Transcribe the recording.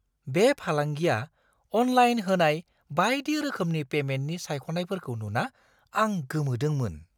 बे फालांगिआ अनलाइन होनाय बायदि रोखोमनि पेमेन्टनि सायख'नायफोरखौ नुना आं गोमोदोंमोन!